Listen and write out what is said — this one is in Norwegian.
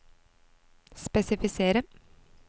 spesifisere